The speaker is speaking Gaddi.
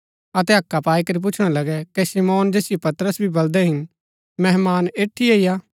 अतै हक्का पाई करी पुछणा लगै कै शमौन जैसिओ पतरस भी बलदै हिन मेहमान ऐठीये ही हा